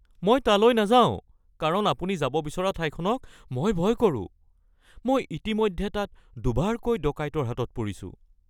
মই তালৈ নাযাওঁ কাৰণ আপুনি যাব বিচৰা ঠাইখনক মই ভয় কৰোঁ। মই ইতিমধ্যে তাত দুবাৰকৈ ডকাইতৰ হাতত পৰিছো